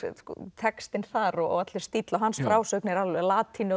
textinn þar og allur stíll á hans frásögn er latínu og